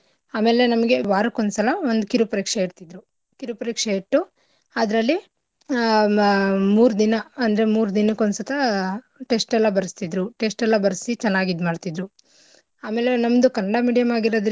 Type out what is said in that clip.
ಆಮೇಲೆ ನಮ್ಗೆ ವಾರಕ್ಕೊಂದ್ಸಲ ಒಂದು ಕಿರು ಪರೀಕ್ಷೆ ಇಡ್ತಿದ್ರು. ಕಿರುಪರೀಕ್ಷೆ ಇಟ್ಟು ಅದ್ರಲ್ಲಿ ಮಾ ಆಹ್ ಮೂರ್ ದಿನ ಅಂದ್ರೆ ಮೂರ್ ದಿನಕ್ ಒಂದ್ ಸತ test ಎಲ್ಲಾ ಬರಸ್ತಿದ್ರು test ಎಲ್ಲಾ ಬರ್ಸಿ ಚನ್ನಾಗ್ ಇದ್ಮಾಡ್ತಿದ್ರು ಆಮೇಲೆ ನಮ್ದು ಕನ್ನಡ medium ಆಗಿರದ್ರಿಂದ.